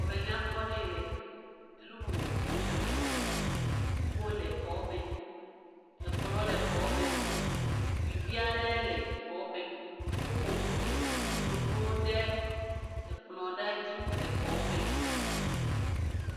Xɔme nyakpɔ aɖe ye le. Enu vovovowo le xɔa me. Kpukpoe le xɔa me, ekplɔ le xɔa me. Zikpui vi aɖe le xɔame. Woƒoƒu enunonuwo ɖe ekplɔ aɖe dzi le exɔ me.